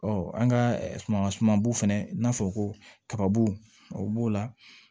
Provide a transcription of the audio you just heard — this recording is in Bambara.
an ka suman sumanbow fɛnɛ n'a fɔ ko kababu o b'o la